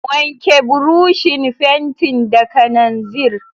Wanke burushin fentin da kananzir.